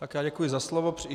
Tak já děkuji za slovo.